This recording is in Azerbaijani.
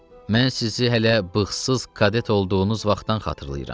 Mən sizi hələ bığızsız kadet olduğunuz vaxtdan xatırlayıram.